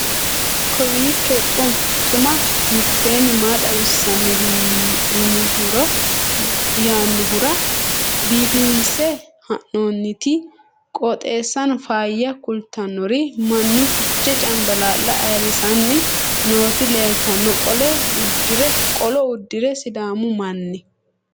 kowiicho xuma mtini maa xawissanno yaannohura biifinse haa'noonniti qooxeessano faayya kultannori mannu fichee cambalaalla ayirrisanni nooti leeltanno qolo uddire sidaamu manni